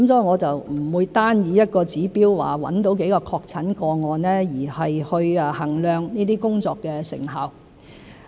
我不會單以一個指標，即找到多少個確診個案去衡量這些工作的成效。